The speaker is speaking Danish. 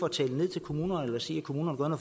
at tale ned til kommunerne eller sige at kommunerne